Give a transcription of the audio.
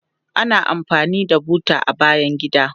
Ana amfani da buta a bayan gida.